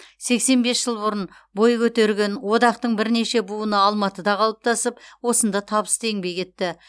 сексен бес жыл бұрын бой көтерген одақтың бірнеше буыны алматыда қалыптасып осында табысты еңбек етті